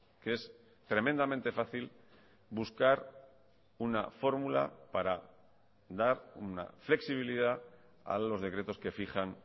que es tremendamente fácil buscar una fórmula para dar una flexibilidad a los decretos que fijan